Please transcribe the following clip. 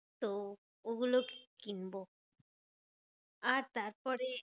তো ওগুলো কি~ কিনবো। আর তারপরে